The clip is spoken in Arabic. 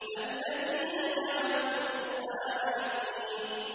الَّذِينَ جَعَلُوا الْقُرْآنَ عِضِينَ